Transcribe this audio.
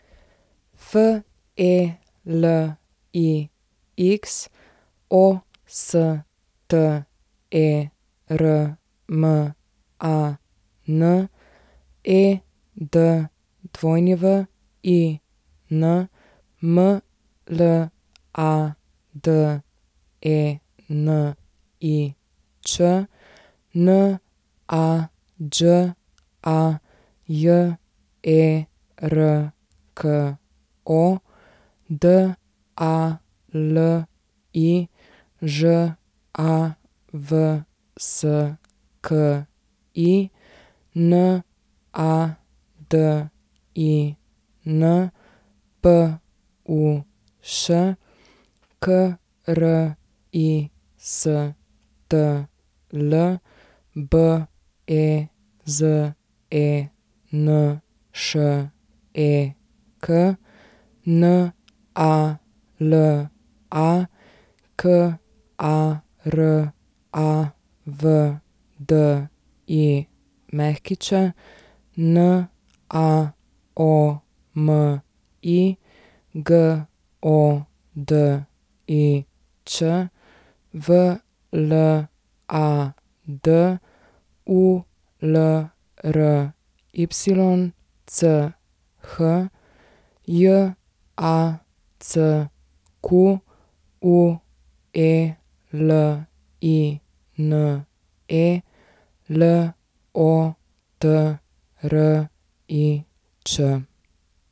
Felix Osterman, Edwin Mladenič, Nađa Jerko, Dali Žavski, Nadin Puš, Kristl Bezenšek, Nala Karavdić, Naomi Godič, Vlad Ulrych, Jacqueline Lotrič.